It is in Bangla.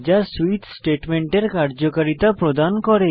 যা সুইচ স্টেটমেন্টের কার্যকারিতা প্রদান করে